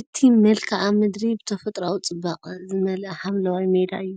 እቲ መልክዓ ምድሪ ብተፈጥሮኣዊ ጽባቐ ዝመልአ ሓምላይ ሜዳ እዩ።